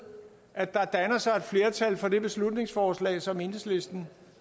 at der danner sig et flertal for det beslutningsforslag som enhedslisten